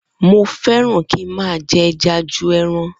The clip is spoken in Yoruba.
Mo feran ki ma je eja ju ẹran